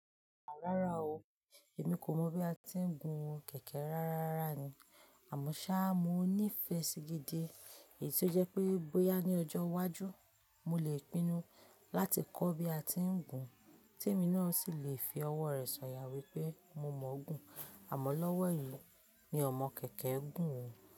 Rárá o, èmi kò mọ̀ bí a ti ń gun kẹ̀kẹ́ rárá rárá ni. Àmọ́ ṣá, mo ní ìfẹ́ sí gidi èyí ti o jẹ́ pé bóyá ní ọjọ́ iwájú, mo le pinnu láti kọ́ bí a ti ń gun, Temi náà sì lè fi ọwọ́ rẹ̀ sọ̀yà wípé mo mọ̀ ọ́n gùn. Àmọ́ lọ́wọ́ yìí mi o mọ kẹ̀kẹ́ gùn.